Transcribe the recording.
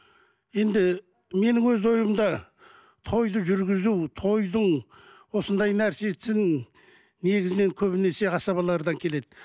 енді менің өз ойымда тойды жүргізу тойдың осындай нәрсесін негізінен көбінесе асабалардан келеді